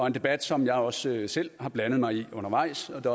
en debat som jeg også selv har blandet mig i undervejs og det